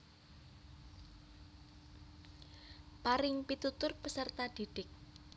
Paring pitutur peserta didik